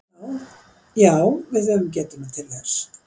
Já við höfum getuna til þess